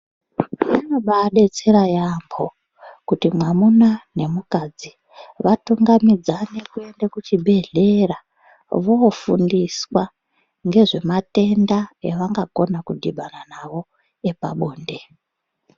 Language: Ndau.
Zvinobaadetsera yaambho kuti mwamuna nemukadzi vatungamidzane kuende kuchibhedhlera voofundiswa ngezvematenda evangakone kudhibana nawo epabonde.